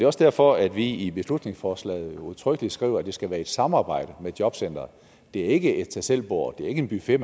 også derfor at vi i beslutningsforslaget udtrykkeligt skriver at det skal være i samarbejde med jobcenteret det er ikke et tag selv bord det er ikke en buffet